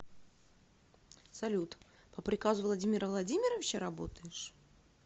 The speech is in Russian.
салют по приказу владимира владимировича работаешь